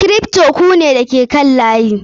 Kripto ku ne da ke kan layi.